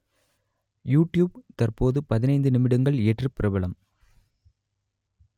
YouTube தற்போது பதினைந்து நிமிடங்கள் ஏற்று பிரபலம்